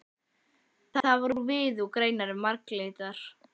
Það var úr viði og greinarnar marglitar.